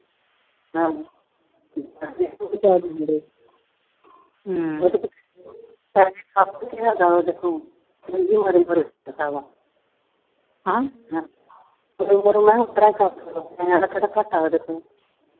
ਨਿਆਨੇ ਕਿਹੜਾ ਘੱਟ ਆ ਉਹਦੇ ਤੋਂ।